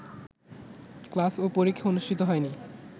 class ও পরীক্ষা অনুষ্ঠিত হয়নি